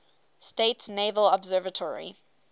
states naval observatory